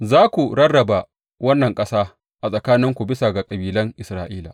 Za ku rarraba wannan ƙasa a tsakaninku bisa ga kabilan Isra’ila.